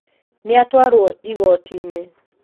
Nĩatwarwo igoti-inĩ